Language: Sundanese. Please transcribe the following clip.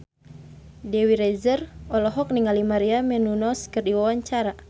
Dewi Rezer olohok ningali Maria Menounos keur diwawancara